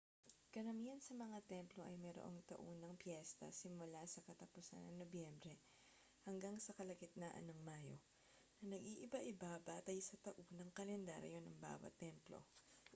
karamihan sa mga templo ay mayroong taunang piyesta simula sa katapusan ng nobyembre hanggang sa kalagitnaan ng mayo na nag-iiba-iba batay sa taunang kalendaryo ng bawat templo